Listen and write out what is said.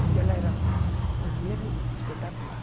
Porque ela era uma cozinheira espetacular.